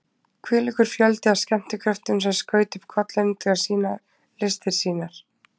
Hvílíkur fjöldi af skemmtikröftum sem skaut upp kollinum til að sýna listir sínar!